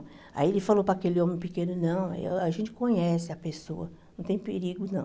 Aí ele falou para aquele homem pequeno, não, a gente conhece a pessoa, não tem perigo, não.